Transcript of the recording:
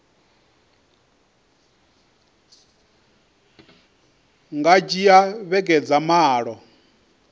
nga dzhia vhege dza malo